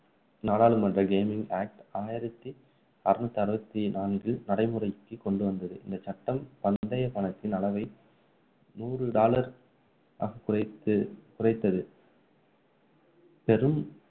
நாடாளுமன்ற gaming act ஆயிரத்தி அறுநூத்தி அறுபத்தி நான்கு நடைமுறைக்கு கொண்டுவந்தது இந்த சட்டம் பந்தய கணக்கின் அளவை நூறு dollar ஆக குறைத்து குறைத்தது பெரும்